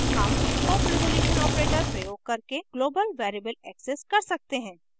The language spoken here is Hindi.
हम :: scope resolution operator प्रयोग करके global variable access कर सकते हैं